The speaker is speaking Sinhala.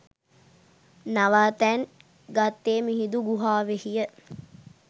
නවාතැන් ගත්තේ මිහිඳු ගුහාවෙහිය.